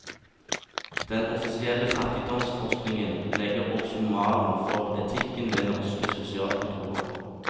Den offisielle fattigdomsforskningen legger også malen for etikken ved norske sosialkontorer.